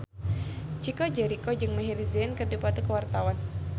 Chico Jericho jeung Maher Zein keur dipoto ku wartawan